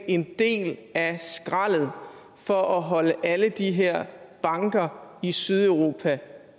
en del af skraldet for at holde alle de her banker i sydeuropa